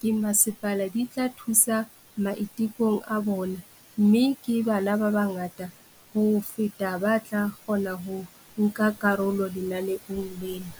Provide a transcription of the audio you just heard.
ke masepala di tla thusa maitekong a bona mme ke bana ba bangata ho feta ba tla kgona ho nka karolo lenaneong lena.